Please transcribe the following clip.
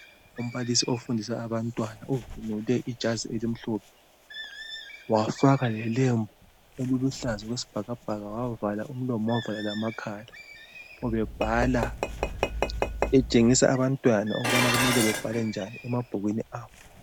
Umbalisi ofundisa abantwana ugqoke ijazi elimhlophe wafaka lembu eliluhlaza okwesibhakabhaka wavala umlomo wavala lamakhala ubebhala etshengisa abantwana ukubana kumele babhale njani emabhukweni abo.